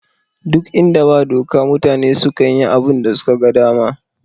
Ɗuk inda ba doka mutane sukan yi abunda suka ga dama